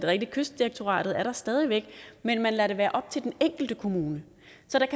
rigtigt at kystdirektoratet er der stadig væk men man lader det være op til den enkelte kommune